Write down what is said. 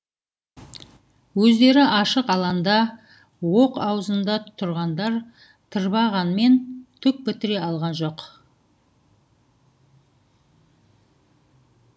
өздері ашық аланда оқ аузында тұрғандар тырбанғанмен түк бітіре алған жоқ